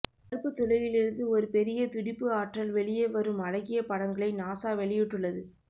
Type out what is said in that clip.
கருப்பு துளையிலிருந்து ஒரு பெரிய துடிப்பு ஆற்றல் வெளியே வரும் அழகிய படங்களை நாசா வெளியிட்டுள்ளது